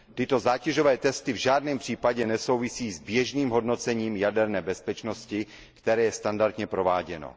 Tyto zátěžové testy v žádném případě nesouvisí s běžným hodnocením jaderné bezpečnosti, které je standardně prováděno.